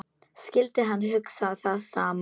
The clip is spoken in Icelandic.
Skyldi hann hugsa það sama?